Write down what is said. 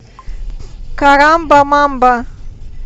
карамба мамба